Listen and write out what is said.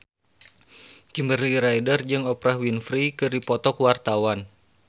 Kimberly Ryder jeung Oprah Winfrey keur dipoto ku wartawan